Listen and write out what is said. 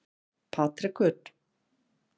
Patrekur